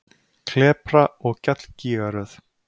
Klepra- og gjallgígaröð